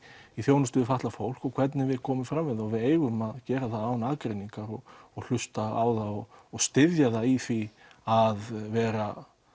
þjónustu við fatlað fólk og hvernig við komum fram við það og við eigum að gera það án aðgreiningar og hlusta á og styðja það í því að vera